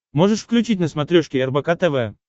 можешь включить на смотрешке рбк тв